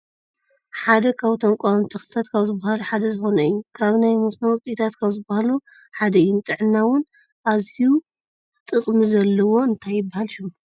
ካብ እቶም ቋሚ ተክልታት ካብ ዝብሃሉ ሓደ ዝኮነ እዩ ። ካብ ናይ መስኖ ውፅኢታት ካብ ዝብሃሉ ሓደ እዩ ንጥዕና እውን ኣዝዩ ጥቅሚ ዘለዎ እንታይ ይብሃል ሽሙ?